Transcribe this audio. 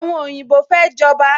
Àwọn oyinbo fẹ́ jọba